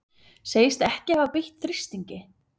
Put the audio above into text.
Segist ekki hafa beitt þrýstingi